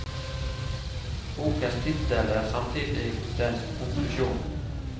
Bokens titel er samtidig dens konklusjon.